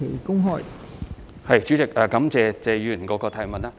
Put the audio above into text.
代理主席，我感謝謝議員的補充質詢。